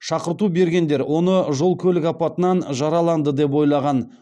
шақырту бергендер оны жол көлік апатынан жараланды деп ойлаған